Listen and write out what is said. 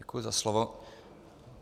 Děkuji za slovo.